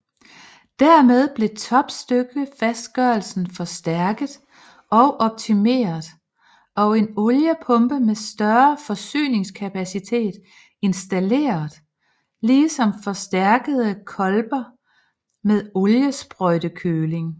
Dermed blev topstykkefastgørelsen forstærket og optimeret og en oliepumpe med større forsyningskapacitet installeret ligesom forstærkede kolber med oliesprøjtekøling